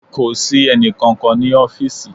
Kò sí ẹnì kankan ní ọfísì